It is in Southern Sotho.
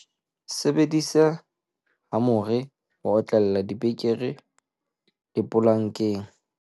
sebedisa hamore ho otlella dipekere lepolankeng